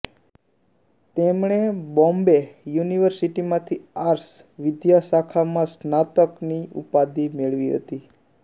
તેમણે બોમ્બે યુનિવર્સિટીમાંથી આર્ટ્સ વિદ્યાશાખામાં સ્નાતકની ઉપાધી મેળવી હતી